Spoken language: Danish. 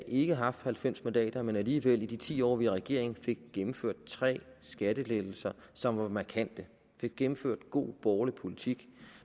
ikke har haft halvfems mandater men alligevel i de ti år vi var i regering fik gennemført tre skattelettelser som var markante fik gennemført god borgerlig politik